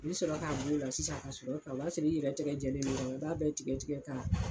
Ni bi sɔrɔ ka b'o la sisan ka segin a kan , o b'a sɔrɔ i yɛrɛ tigɛ lajɛlen. I b'a bɛɛ tigɛ tigɛ ka